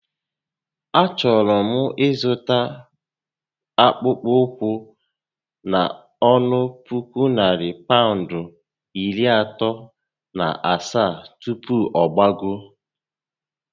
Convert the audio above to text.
A chọrọ m ịzụta akpụkpọ ụkwụ a n'ọnụ puku narị Pawụndụ iri atọ na asaá tupu ọ gbagoo